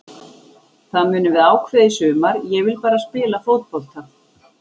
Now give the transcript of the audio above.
Það munum við ákveða í sumar, ég vil bara spila fótbolta.